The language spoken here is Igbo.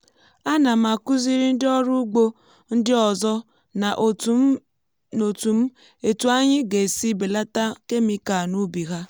ana m akuziri ndị ọrụ ugbo ndị ọzọ na otù m etu anyị ga esi belata kemịkal n’ubi ha.